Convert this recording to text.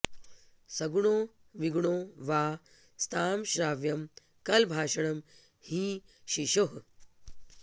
सगुणो विगुणो वा स्तां श्राव्यं कलभाषणं हि शिशोः